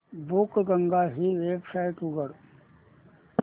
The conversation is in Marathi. बुकगंगा ही वेबसाइट उघड